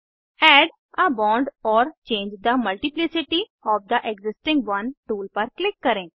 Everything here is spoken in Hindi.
add a bond or change the multiplicity of the existing one tool पर क्लिक करें